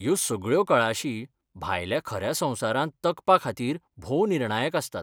ह्यो सगळ्यो कळाशी भायल्या खऱ्या संवसारांत तगपाखातीर भोव निर्णायक आसतात.